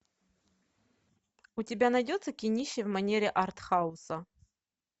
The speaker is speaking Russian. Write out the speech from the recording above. у тебя найдется кинище в манере артхауса